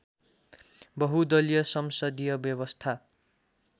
बहुदलीय संसदीय व्यवस्था